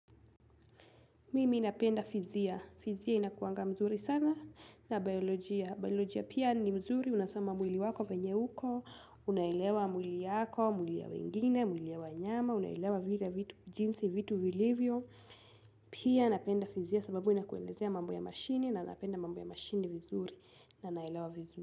Mimi napenda fizia. Fizia inakuanga mzuri sana hh na biolojia. Biolojia pia ni mzuri. Unasema mwili wako venye uko hh Unaelewa mwili yako, mwili ya wengine, mwili ya wanyama uu Unaelewa vile vitu jinsi, vitu vilivyo. Mm hh Pia napenda fizia sababu inakuwelezea mambo ya mashini na napenda mambo ya mashini vizuri na naelewa vizuri.